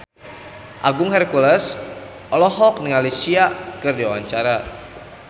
Agung Hercules olohok ningali Sia keur diwawancara